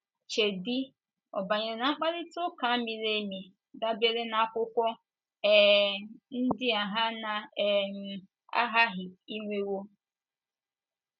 Cheedị, ọ banyere na mkparịta ụka miri emi dabeere n’akwụkwọ um ndi a ha na - um aghaghị inwewo?.